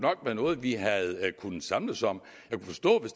være noget vi havde kunnet samles om